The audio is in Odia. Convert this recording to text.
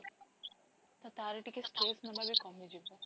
ତ ତାର ଟିକେ stress ନାବବି କମି ଯିବ